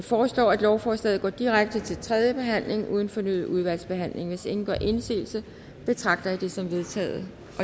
foreslår at lovforslaget går direkte til tredje behandling uden fornyet udvalgsbehandling hvis ingen gør indsigelse betragter jeg dette som vedtaget